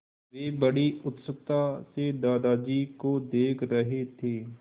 वे बड़ी उत्सुकता से दादाजी को देख रहे थे